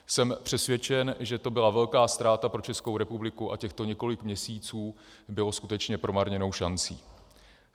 Jsem přesvědčen, že to byla velká ztráta pro Českou republiku a těchto několik měsíců bylo skutečně promarněnou šancí.